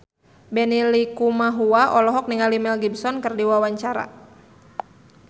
Benny Likumahua olohok ningali Mel Gibson keur diwawancara